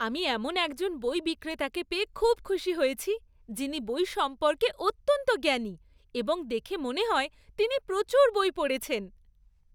আমি এমন একজন বই বিক্রেতাকে পেয়ে খুব খুশি হয়েছি যিনি বই সম্পর্কে অত্যন্ত জ্ঞানী এবং দেখে মনে হয় তিনি প্রচুর বই পড়েছেন।